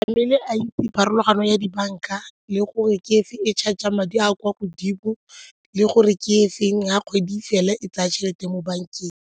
Mmele a itse pharologano ya dibanka le gore ke efe e charger madi a kwa godimo le gore ke e feng ga kgwedi fela e tsaya tšhelete mo bankeng.